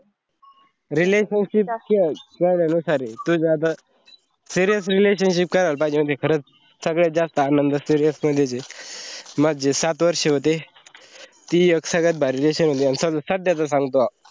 relationship नुसार आहे तुझ्या आता serious relationship करायला पहाजे माहिताय का खरच सगळ्यात जास्थ आनंद serious मध्‍येचे. माझं जे सात वर्ष होते थी एक सगळ्यात भारी relation होती आणि साध्याच सांगतो.